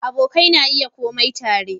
Abokai na iya kurme tare